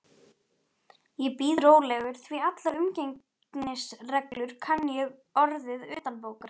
Ég bíð rólegur, því allar umgengnisreglur kann ég orðið utanbókar.